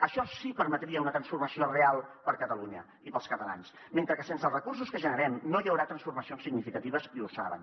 això sí que permetria una transformació real per a catalunya i per als catalans mentre que sense els recursos que generem no hi haurà transformacions significatives i ho saben